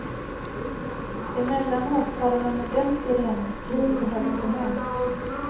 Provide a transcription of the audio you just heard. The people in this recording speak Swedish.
Emellanåt tar han en ordentlig reningskur på hälsohem.